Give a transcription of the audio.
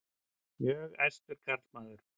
Mjög æstur karlmaður.